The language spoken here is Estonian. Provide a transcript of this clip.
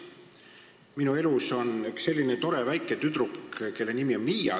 Minu elus on üks tore väike tüdruk, kelle nimi on Miia.